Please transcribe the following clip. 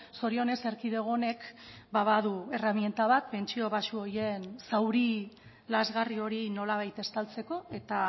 zorionez erkidego honek badu erreminta bat pentsio baxu horien zauri lazgarri hori nolabait estaltzeko eta